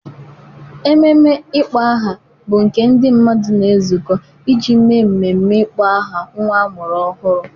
Ememe ịkpọ aha bụ nke ndị mmadụ na-ezukọ iji mee mmemme ịkpọ aha nwa a mụrụ ọhụrụ.